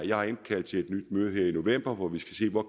jeg har indkaldt til et nyt møde her i november hvor vi skal se på